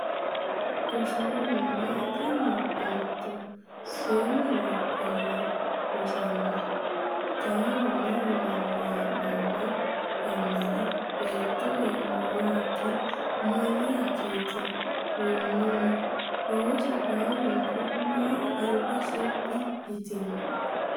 Gosoomi Mayyitanni nootto? Seennu labballi rosona, taalona yinanni hee’noonni yannara beetto eemmo yaakki mayyaakkiiti? Gonnami ooso baalunku mayra alba shibbi yitino?